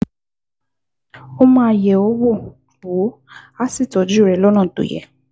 Ó máa yẹ̀ ọ́ wò, wò, á sì tọ́jú ẹ lọ́nà tó yẹ